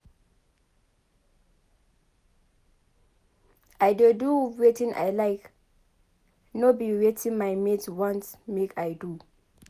I dey do wetin I like no be wetin my mates want make I do.